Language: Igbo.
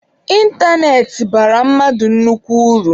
Ịntanetị bara mmadụ nnukwu uru.